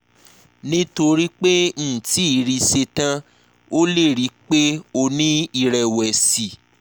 nítorí pé mri ti ṣe tán o lè rí i pé o ní ìrẹ̀wẹ̀sì